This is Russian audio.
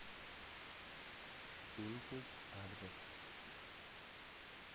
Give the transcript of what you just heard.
импульс адрес